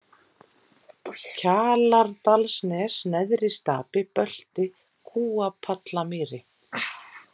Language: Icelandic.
Kjalardalsnes, Neðri-Stapi, Bölti, Kúapallamýri